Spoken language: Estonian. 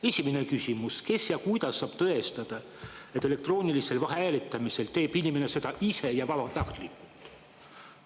Esimene küsimus: kes ja kuidas saab tõestada, et elektroonilisel hääletamisel teeb inimene seda ise ja vabatahtlikult?